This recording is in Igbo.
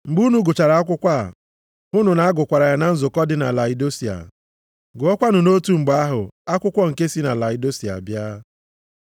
Mgbe unu gụchara akwụkwọ a, hụnụ na a gụkwara ya na nzukọ dị na Laodisia. Gụọkwanụ nʼotu mgbe ahụ akwụkwọ nke si na Laodisia bịa.